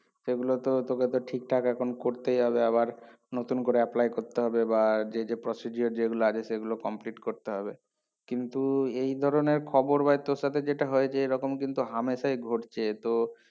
সেগুলো তো তোকে তোর ঠিকঠাক এখন করতেই হবে আবার নতুন করে apply করতে হবে বা যে যে procedure যেগুলো আছে সেগুলো complete করতে হবে কিন্তু এই ধরনের খবর বা তোর সাথে যেটা হয়েছে এইরকম কিন্তু হামেশাই ঘটছে তো